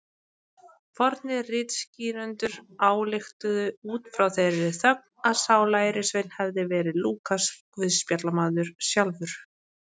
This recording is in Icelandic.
Fornir ritskýrendur ályktuðu út frá þeirri þögn að sá lærisveinn hefði verið Lúkas guðspjallamaður sjálfur.